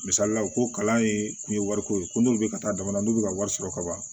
Misalila u ko kalan ye kun ye wari ko ye ko n'u bɛ ka taa jamana na n'u bɛ ka wari sɔrɔ ka ban